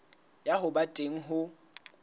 ya ho ba teng ho